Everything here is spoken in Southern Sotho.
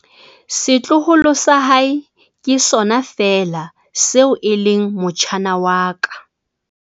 Setloholo sa hae ke sona feela seo e leng motjhana wa ka.